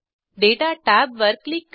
दाता टॅबवर क्लिक करा